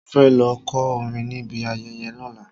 Mo fẹ́ lọ kọ́ orin níbi ayẹyẹ lọ́la.